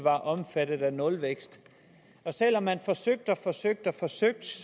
er omfattet af nulvækst selv om man forsøgte og forsøgte forsøgte